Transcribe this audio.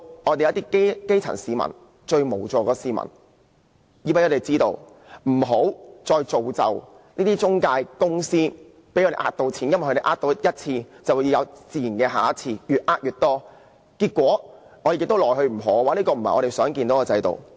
我們要讓基層市民、最無助的市民知道有關資訊，不要再造就這些中介公司騙錢的機會，因為它們欺騙過一次，便自然會有下次，越騙越多，結果我們對它們亦無可奈何，這不是我們想看到的制度。